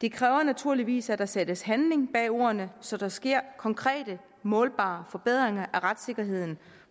det kræver naturligvis at der sættes handling bag ordene så der sker konkrete målbare forbedringer af retssikkerheden